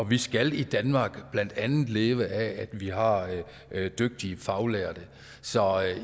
vi skal i danmark blandt andet leve af at vi har dygtige faglærte så